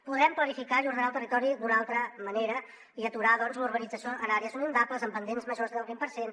podrem planificar i ordenar el territori d’una altra manera i aturar doncs la urbanització en àrees inundables amb pendents majors del vint per cent